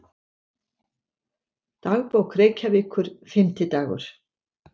Dagbók Reykjavíkur, Fimmtidagur